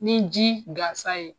Ni ji gansan ye.